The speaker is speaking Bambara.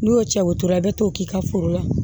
N'i y'o cɛ o tora i bɛ t'o k'i ka foro la